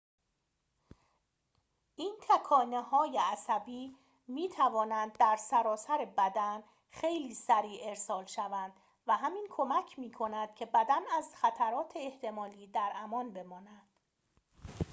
این تکانه‌های عصبی می‌توانند در سراسر بدن خیلی سریع ارسال شوند و همین کمک می‌کند که بدن از خطرات احتمالی در امان بماند